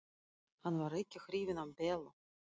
Hann var ekki hrifinn af Bellu.